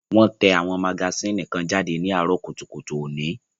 Wón tẹ àwọn magasínì kan jáde ní àárọ̀ kùtùkùtù òní